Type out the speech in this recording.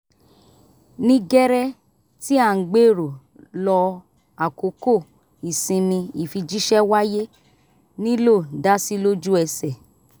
ní gẹ́rẹ́ tí à ń gbèrò lọ àkókò ìsinmi ìfijíṣẹ́ wáyé nílò dásí lójú ẹsẹ̀